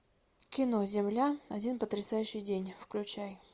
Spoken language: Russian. кино земля один потрясающий день включай